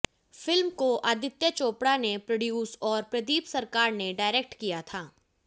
film को आदित्य चोपड़ा ने produce और प्रदीप सरकार ने डायरेक्ट किया था